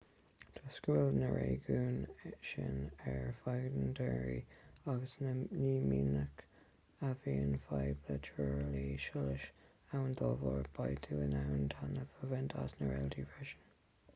toisc go bhfuil na réigiúin sin ar bheagán daonra agus ní minic a bhíonn fadhb le truailliú solais ann dá bharr beidh tú in ann taitneamh a bhaint as na réaltaí freisin